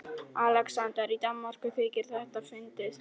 ALEXANDER: Í Danmörku þykir þetta fyndið!